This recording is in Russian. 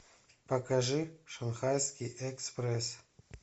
покажи шанхайский экспресс